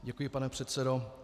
Děkuji, pane předsedo.